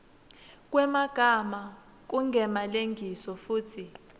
kwemagama kungemalengiso futsi